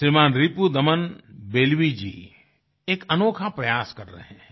श्रीमान् रिपुदमन बेल्वी जी एक अनोखा प्रयास कर रहें हैं